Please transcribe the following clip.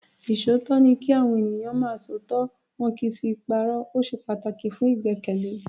Ìṣòótọ́ ni kí Àwọn ènìyàn máa ń sọ òtítọ́ wọn kì í sì í parọ́. O ṣe pataki fun igbẹkẹle.